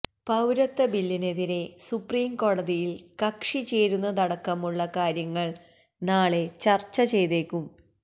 പൌരത്വ ബില്ലിനെതിരെ സുപ്രീംകോടതിയിൽ കക്ഷി ചേരുന്നതടക്കമുള്ള കാര്യങ്ങൾ നാളെ ചർച്ച ചെയ്തേക്കും